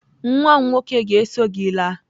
Nwa m nwoke ga-eso gị laa.